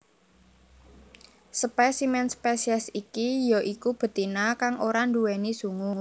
Spesimen spesies iki ya iku betina kang ora nduwèni sungu